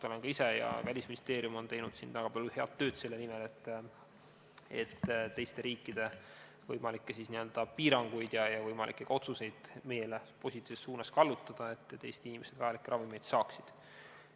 Olen ise ja ka Välisministeerium on teinud väga palju head tööd selle nimel, et teiste riikide võimalikke piiranguid ja otsuseid meile positiivses suunas kallutada, nii et Eesti inimesed vajalikke ravimeid saaksid.